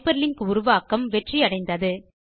hyper link உருவாக்கம் வெற்றி அடைந்தது